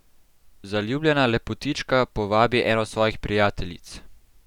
Zaljubljena lepotička povabi eno svojih prijateljic.